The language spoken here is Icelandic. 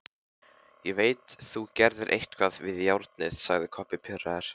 Ég veit þú gerðir eitthvað við járnið, sagði Kobbi pirraður.